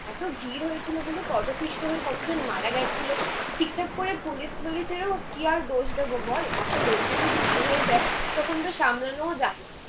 এতো ভিড় হয়েছিল বলে পদপৃষ্ট হয়ে কতজন মারা গেছিলো। ঠিক ঠাক করে পুলিশগুলিদেরও কি আর দোষ দেবো বল এতো লোক যদি ভিড় হয়ে যায় তখনতো সামলানোও যায় না।